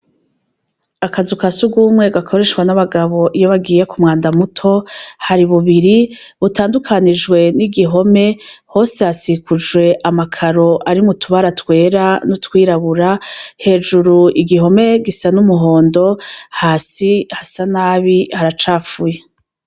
Akazu ka sigumwe gakoreshwa n'abagabo iyo bagiye ku mwanda muto hari bubiri butandukanijwe n'igihome hose hasikujwe amakaro ari mutubaratwera n'utwirabura, hejuru igihome gisa n'umuhondo hasi hasa nabi haracapfuye.